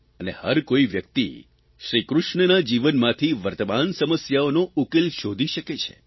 અને હરકોઇ વ્યક્તિ શ્રીકૃષ્ણના જીવનમાંથી વર્તમાન સમસ્યાઓનો ઉકેલ શોધી શકે છે